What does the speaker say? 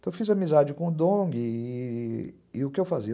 Então eu fiz amizade com o Dong e o que eu fazia?